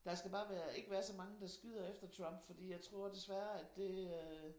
Der skal bare være ikke være så mange der skyder efter Trump fordi jeg tror desværre at det øh